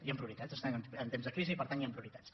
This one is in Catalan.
hi ha prioritats estem en temps de crisi i per tant hi ha prioritats